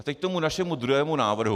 A teď k našemu druhému návrhu.